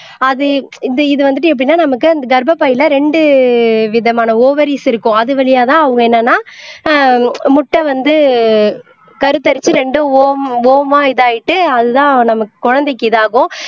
அது இந்த இது வந்துட்டு எப்படின்னா நமக்கு அந்த கர்ப்பப்பையில ரெண்டு விதமான ஓவரீஸ் இருக்கும் அது வழியாதான் அவங்க என்னன்னா ஆஹ் முட்டை வந்து கருத்தரிச்சு ரெண்டு இதாயிட்டு அதுதான் நம்ம குழந்தைக்கு இது ஆகும்